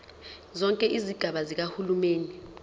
zonke izigaba zikahulumeni